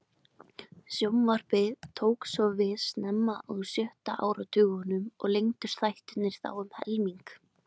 Sjónvarpið tók svo við snemma á sjötta áratugnum og lengdust þættirnir þá um helming.